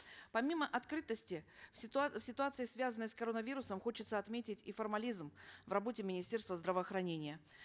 помимо открытости в в ситуации связанной с коронавирусом хочется отметить и формализм в работе министерства здравоохранения